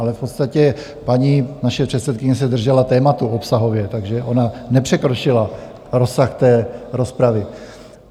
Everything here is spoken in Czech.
Ale v podstatě naše paní předsedkyně se držela tématu obsahově, takže ona nepřekročila rozsah té rozpravy.